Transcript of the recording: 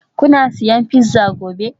Kuna siyan pizza gobe?